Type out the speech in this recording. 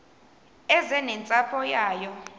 eze nentsapho yayo